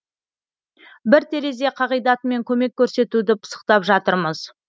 бір терезе қағидатымен көмек көрсетуді пысықтап жатырмыз